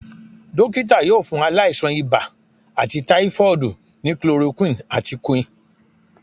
Dọkita yóò fún ailasan ìbá àti typhoid ní chloroquine àti quinn